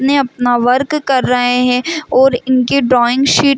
ने अपना वर्क कर रहे है और इनके ड्राइंग शीट --